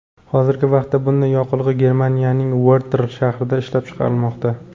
Hozirgi vaqtda bunday yoqilg‘i Germaniyaning Vertl shahrida ishlab chiqarilmoqda.